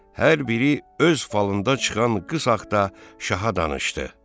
Hər biri öz falından çıxan qıza şaha danışdı.